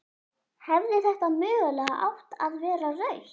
Hefði þetta mögulega átt að vera rautt?